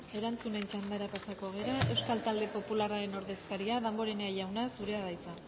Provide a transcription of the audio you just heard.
erantzuten txanda pasako gara euskal talde popularren ordezkaria damborenea jauna zurea da hitza